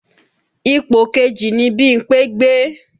Ipò kejì ni Bímpé gbé